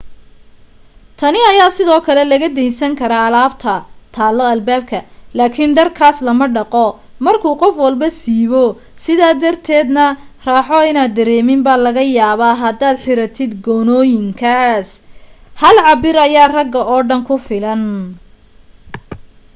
tani ayaa sidoo kale laga deynsan karaa alaabta taalo albaabka laakin dharkaas lama dhaqo markuu qof walbo siibo sidaa darteeda na raaxo inaad dareemin baa laga yaabaa hadaad xiratid goonooyinkaas hal cabbir ayaa ragga oo dhan ku filan